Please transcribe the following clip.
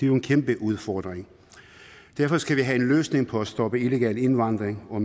jo en kæmpe udfordring derfor skal vi have en løsning på at stoppe illegal indvandring og